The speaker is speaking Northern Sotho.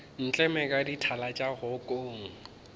ntleme ka dithala tša kgokong